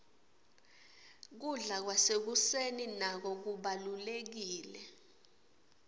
kubla kwasekuseni nako kubalurekile